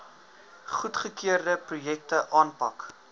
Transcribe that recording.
goedgekeurde projekte aanpak